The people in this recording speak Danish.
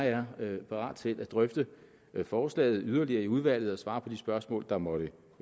er eller jeg er parat til at drøfte forslaget yderligere i udvalget og svare på de spørgsmål der måtte